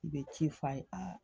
I bɛ ci f'a ye aa